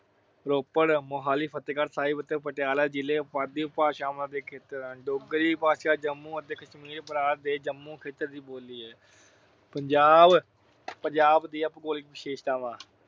ਰੋਪੜ, ਮੁਹਾਲੀ, ਫਤਿਹਗੜ੍ਹ ਸਾਹਿਬ ਅਤੇ ਪਟਿਆਲਾ ਜ਼ਿਲ੍ਹੇ ਪੁਆਧੀ ਉਪਭਾਸ਼ਾ ਦੇ ਖੇਤਰ ਹਨ। ਡੋਗਰੀ ਭਾਸ਼ਾ ਜੰਮੂ ਅਤੇ ਕਸ਼ਮੀਰ ਪ੍ਰਾਂਤ ਦੇ ਜੰਮੂ ਖੇਤਰ ਦੀ ਬੋਲੀ ਹੈ। ਪੰਜਾਬ ਅਹ ਪੰਜਾਬ ਦੀਆਂ ਭੂਗੋਲਿਕ ਵਿਸ਼ੇਸ਼ਤਾਵਾਂ